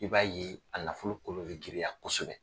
I b'a ye a nafolo kolo bɛ giriya kosɛbɛ.